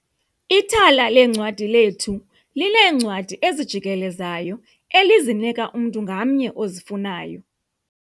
Ithala leencwadi lethu lineencwadi ezijikelezayo elizinika umntu ngamnye ozifunayo.